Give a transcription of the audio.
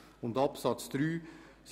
In Absatz 3 steht: